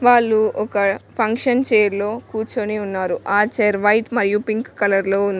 వాళ్లు ఒక ఫంక్షన్ చేర్లో కూర్చొని ఉన్నారు ఆ చేర్ వైట్ మరియు పింక్ కలర్ లో ఉంది.